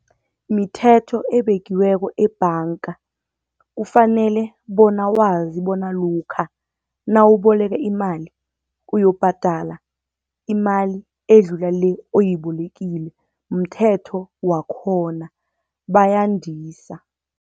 Mithetho ebekiweko ebhanga, kufanele bona wazi bona lokha nawuboleke imali uyokubhadala imali edlula le oyibolekile. Mthetho wakhona bayandisa.